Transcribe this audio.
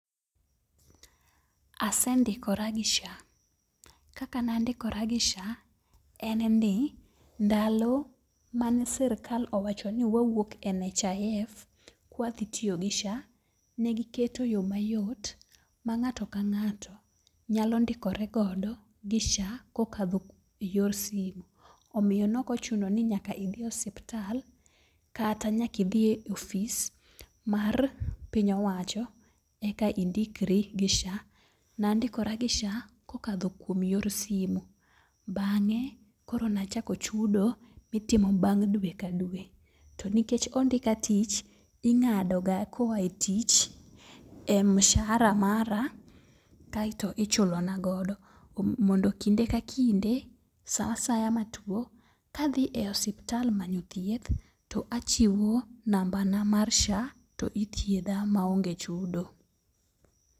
Ase ndikora gi SHA, kaka nandikora gi SHA en ni. Ndalo mane sirkal owacho ni wauok e NHIF, kwadhi tiyo gi SHA, negiketo yo mayot ma ng'ato ka ng'ato nyalo ndikore godo gi SHA kokadho yor simu. Omiyo nokochuno ni nyaka idhi e osiptal, kata nyaki dhiye ofis mar piny owacho eka indikri gi SHA. Nandikora gi SHA kokadho kuom yor simu, bang'e, koro nachako chudo mitimo bang' dwe ka dwe. To nikech ondika tich, ing'ado ga koae tich e mshahara mara kaeto ichulo na godo. Mondo kinde ka kinde, sa asaya matuo, kadhi e osiptal manyo thieth to achiwo namba na mar SHA to ithiedha maonge chudo.